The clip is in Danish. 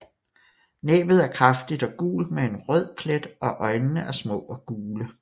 Næbbet er kraftigt og gult med en rød plet og øjnene er små og gule